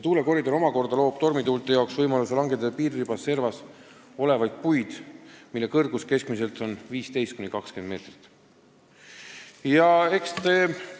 Tuulekoridoris aga on oht, et tormituuled langetavad piiririba servas olevaid puid, mille kõrgus on keskmiselt 15–20 meetrit.